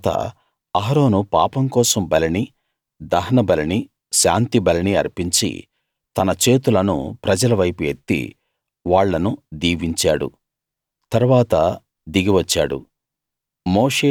ఆ తరువాత అహరోను పాపం కోసం బలినీ దహనబలినీ శాంతిబలినీ అర్పించి తన చేతులను ప్రజల వైపు ఎత్తి వాళ్ళను దీవించాడు తరువాత దిగి వచ్చాడు